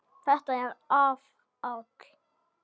Þetta er áfall.